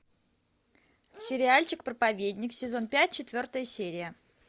сериальчик проповедник сезон пять четвертая серия